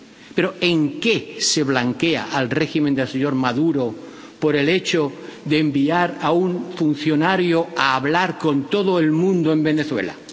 Pero ¿en qué se blanquea al régimen del señor Maduro por el hecho de enviar a un funcionario a hablar con todo el mundo en Venezuela?